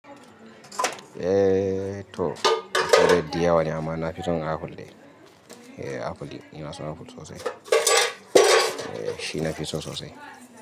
Eh to, saidai diyawa ne amma nafi son apple dai. Apple dai, inaso apple sosai. Eh shi nafiso sosai.